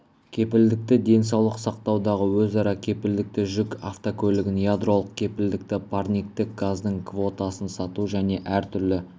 кепілдікті денсаулық сақтаудағы өзара кепілдікті жүк автокөлігін ядролық кепілдікті парниктік газдың квотасын сату және әр түрлі